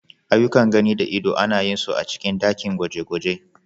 Aiyukan gani da ido ana yin su a cikin ɗakin gwaje-gwaje.